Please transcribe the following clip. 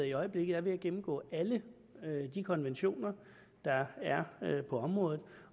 i øjeblikket er ved at gennemgå alle de konventioner der er på området